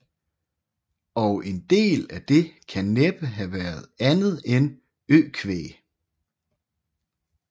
Og en del af det kan næppe have været andet end økvæg